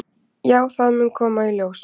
"""Já, það mun koma í ljós."""